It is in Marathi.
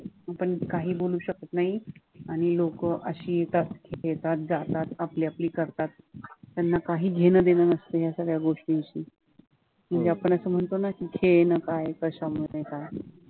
आपण काही बोलू शकत नाही आणि लोकं अशी येतात, येतात जातात आपली आपली करतात, ह्यांना काही घेणं देणं नसतं ह्या सगळ्या गोष्टींशी म्हणजे आपण असं म्हणतो ना, की म्हणजे खेळणं काय कश्यामध्ये काय